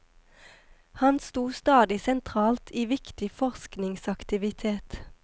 Han sto stadig sentralt i viktig forskningsaktivitet.